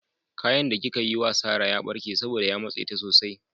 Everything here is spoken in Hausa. Kayan da kika yi wa Sarah ya barke saboda ya matse ta sosai.